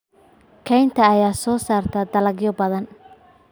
Kaynta ayaa soo saarta dalagyo badan.